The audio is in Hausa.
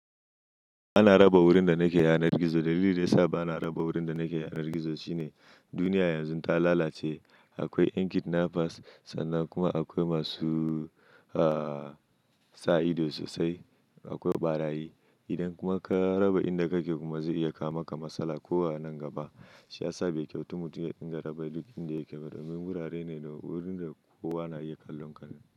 Ba na raba wurin da nake yanar gizo. Dalilin da ya sa ba na raba wurin da nake yanar gizo shine duniya yanzu ta lalace. Akwai yan kidnappers sannan kuma akwai masu, ah, sa ido sosai. Akwai ɓarayi. Idan kuma ka raba inda kake kuma zai iya kama ka matsala ko a nan gaba. Shi ya sa bai kyautu mutum ya dinga raba duk inda yake ba. Domin wurare ne da wurin da kowa na iya kallon ka.